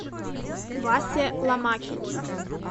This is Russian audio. васе ломакине